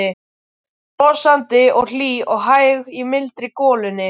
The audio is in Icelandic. Brosandi og hlý og hæg í mildri golunni.